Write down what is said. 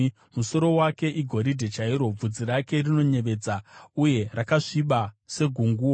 Musoro wake igoridhe chairo; bvudzi rake rinoyevedza uye rakasviba segunguo.